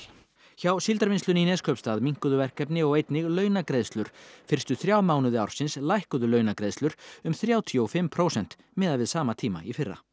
hjá Síldarvinnslunni í Neskaupstað minnkuðu verkefni og einnig launagreiðslur fyrstu þrjá mánuði ársins lækkuðu launagreiðslur um þrjátíu og fimm prósent miðað við sama tíma í fyrra